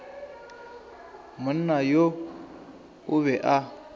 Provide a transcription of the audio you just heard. monna yoo o be a